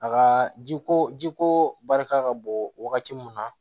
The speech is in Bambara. A ka ji ko ji ko barika ka bon wagati mun na